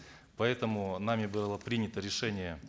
поэтому нами было принято решение